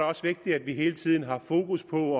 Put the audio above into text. også vigtigt at vi hele tiden har fokus på